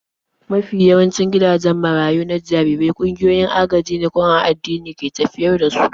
Mafi yawancin gidajen marayu na jarirai ƙungiyoyin agajine ko an addini ke tafiyar da su.